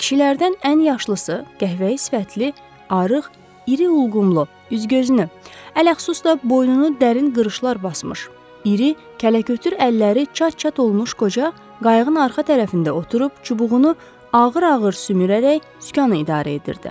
Kişilərdən ən yaşlısı, qəhvəyi sifətli, arıq, iri ulğumlu, üz-gözünü, ələxüsus da boynunu dərin qırışlar basmış, iri, kələkötür əlləri çat-çat olmuş qoca qayıqın arxa tərəfində oturub, çubuğunu ağır-ağır sümürərək sükanı idarə edirdi.